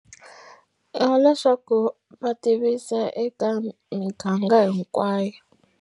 Ya leswaku va tivisa eka miganga hinkwayo.